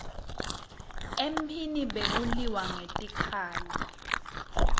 emphini bekuliwa ngetikhali